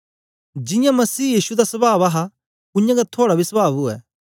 जियां मसीह यीशु दा सवाव हा उयांगै थुआड़ा बी सवाव उवै